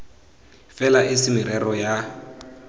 fela e se merero ya